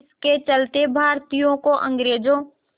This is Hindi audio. इसके चलते भारतीयों को अंग्रेज़ों